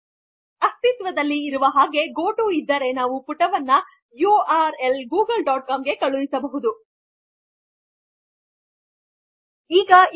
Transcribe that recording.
ಪ್ರಸ್ತುತ ಇರುವ ಆಗೆ ಗೊಟು ಇದ್ದರೆ ನಾವು ಪುಟವನ್ನು ಯುಆರ್ಎಲ್ ಗೂಗಲ್ ಡಾಟ್ ಕಾಮ್ ಗೆ ಕಳುಹಿಸುತ್ತಿವಿ